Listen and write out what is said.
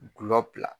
Gulɔ bila